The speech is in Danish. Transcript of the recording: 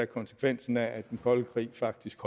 konsekvensen af at den kolde krig faktisk